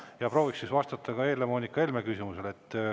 Ja prooviks siis vastata ka Helle-Moonika Helme küsimusele.